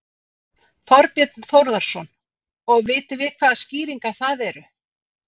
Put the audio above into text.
Þorbjörn Þórðarson: Og vitum við hvaða skýringar það eru?